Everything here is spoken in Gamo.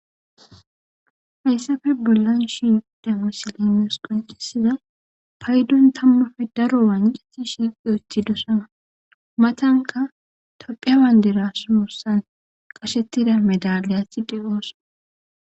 Hayssafe bollan shi yudda musolimeos qoncisiza paydon tammafe daro waancisi shiqiyothi dosama matanka tophea waynderasuursan qashettida medaliyatsi dheqoossa.